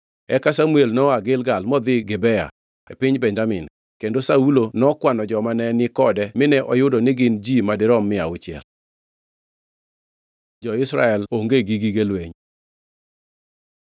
Eka Samuel noa Gilgal modhi Gibea e piny Benjamin, kendo Saulo nokwano joma ne ni kode mine oyudo ni gin ji madirom mia auchiel. Jo-Israel onge gi gige lweny